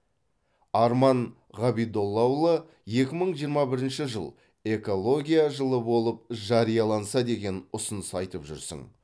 арман ғабидоллаұлы екі мың жиырма бірінші жыл экология жылы болып жарияланса деген ұсыныс айтып жүрсің